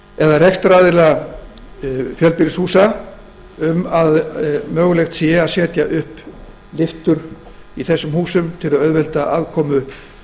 eða rekstraraðila fjölbýlishúsa til að mögulegt verði að setja upp lyftur í þessum húsum til að auðvelda aðkomu